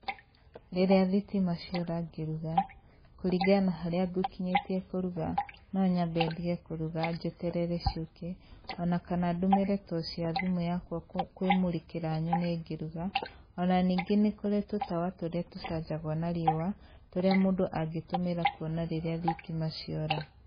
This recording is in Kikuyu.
Rĩrĩa thitima ciora ngĩruga, kũringana na harĩa ngũkinyĩtie kũruga, no nyambe ndige kũruga njeterere ciũke, o na kana ndũmĩre toci ya thimũ yakwa kwĩmũrĩkĩra nyone ngĩruga, o na ningĩ nĩkũrĩ tũtawa tũrĩa tũcanjagwo na riũa, tũrĩa mũndũ angĩtũmĩra kuona rĩrĩa thitima ciora